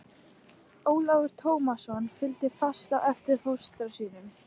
Ólafur Tómasson fylgdi fast á eftir fóstra sínum.